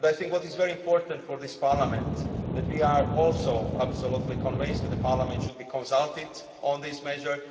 I think what is very important for this Parliament is that we are also absolutely convinced that Parliament should be consulted on this measure.